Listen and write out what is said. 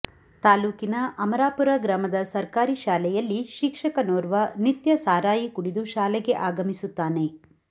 ತಾಲೂಕಿನ ಅಮರಾಪುರ ಗ್ರಾಮದ ಸರ್ಕಾರಿ ಶಾಲೆಯಲ್ಲಿ ಶಿಕ್ಷಕನೋರ್ವ ನಿತ್ಯ ಸರಾಯಿ ಕುಡಿದು ಶಾಲೆಗೆ ಆಗಮಿಸುತ್ತಾನೆ